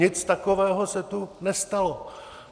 Nic takového se tu nestalo.